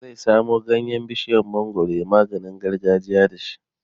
Zai samo ganyen bishiyar mangwaro yayi maganin gargajiya da shi